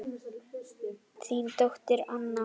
Þín dóttir Anna.